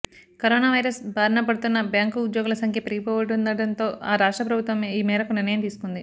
corona virus బారిన పడుతున్న bank ఉద్యోగుల సంఖ్య పెరిగిపోతుండటంతో ఆ రాష్ట్ర ప్రభుత్వం ఈ మేరకు నిర్ణయం తీసుకుంది